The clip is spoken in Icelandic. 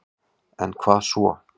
En er svo?